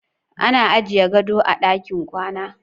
Ana ajiye gado a ɗakin kwana.